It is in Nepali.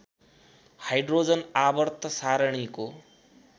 हाइड्रोजन आवर्त सारणीको